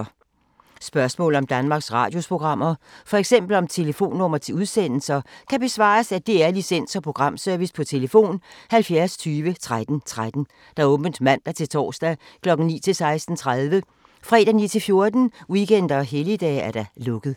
Spørgsmål om Danmarks Radios programmer, f.eks. om telefonnumre til udsendelser, kan besvares af DR Licens- og Programservice: tlf. 70 20 13 13, åbent mandag-torsdag 9.00-16.30, fredag 9.00-14.00, weekender og helligdage: lukket.